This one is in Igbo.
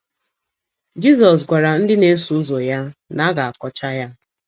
Jizọs gwara ndị na - eso ụzọ ya na a ga - akọcha ha.